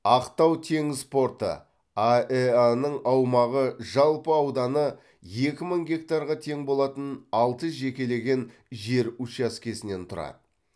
ақтау теңіз порты аэа ның аумағы жалпы ауданы екі мың гектарға тең болатын алты жекелеген жер учаскесінен тұрады